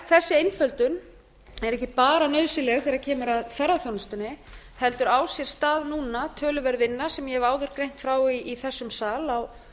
þessi einföldun er ekki bara nauðsynleg þegar kemur að ferðaþjónustunni heldur á sér stað núna töluverð vinna sem ég hef áður greint frá í þessum sal